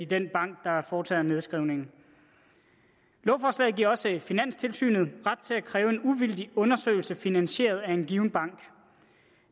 den bank der foretager nedskrivningen lovforslaget giver også finanstilsynet ret til at kræve en uvildig undersøgelse finansieret af en given bank